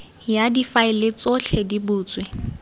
ya difaele tsotlhe di butswe